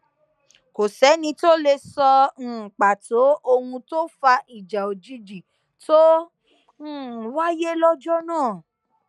kò sẹni tó lè sọ um pàtó ohun tó fa ìjà òjijì tó um wáyé lọjọ náà